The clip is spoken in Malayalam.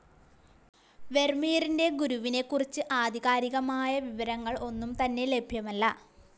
വെർമീറിന്റെ ഗുരുവിനെക്കുറിച്ച് ആധികാരികമായ വിവരങ്ങൾ ഒന്നും തന്നെ ലഭ്യമല്ല.